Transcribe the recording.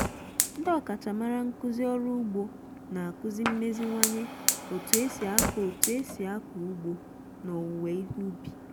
ndị ọkachamara nkuzi orụ ugbo na-akuzi mmeziwanye etu esi ako etu esi ako ugbo na owuwe ihe ubi